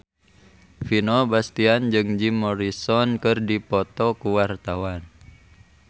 Vino Bastian jeung Jim Morrison keur dipoto ku wartawan